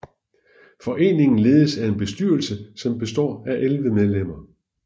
Foreningen ledes af en bestyrelse som består af 11 medlemmer